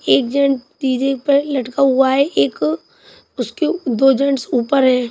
एक जन डी_जे पे लटका हुआ है एक उसके दो जेंट्स ऊपर हैं।